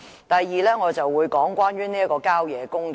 第二，我會談談郊野公園。